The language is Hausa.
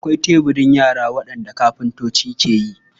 Akwai teburan yara waɗanda kafintoci ke yi.